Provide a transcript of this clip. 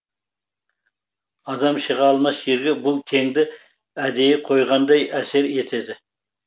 адам шыға алмас жерге бұл теңді әдейі қойғандай әсер етеді